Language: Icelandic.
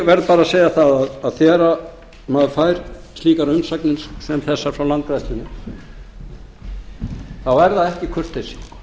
verð bara að segja það að þegar maður fær slíkar umsagnir sem þessar frá landgræðslunni þá er það ekki kurteisi